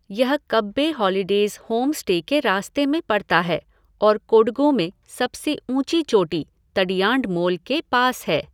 यह Kabbe holidays homestay के रास्ते में पड़ता है और कोडगु में सबसे ऊँची चोटी, तडियांडमोल, के पास है।